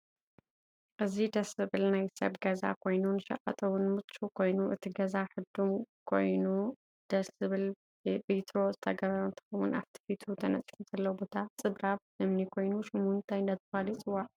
እዚ ድስ ዝብል ናይ ሰብ ገዛ ኮይኑ ንሽቀጥ እውን ሙችው ኮይኑ እቲ ገዛ ሕዱም ኮይኑድስ ዝብል በትሮ ዝተገበሮ እንትከው ኣፊቲ ፊቱ ተነፅፉ ዘሎ ቦታ ፅራብ እምኒ ከይኑ ሹሙ እንታይ እዳተበሃለ ይፅዋዕ ?